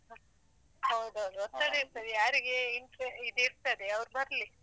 ಹೌದೌದು ಯಾರಿಗೆ ಇದ್ ಇರ್ತದೆ ಯಾರಿಗೆ ಇದಿರ್ತದೆ ಅವ್ರು ಬರ್ಲಿ.